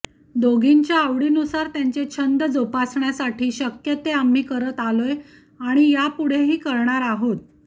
दोघींच्या आवडीनुसार त्यांचे छंद जोपासण्यासाठी शक्य ते आम्ही करत आलोय आणि यापुढेही करणार आहोत